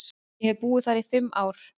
Ég hef búið þar í fimm ár.